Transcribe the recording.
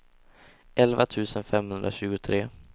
elva tusen femhundratjugotre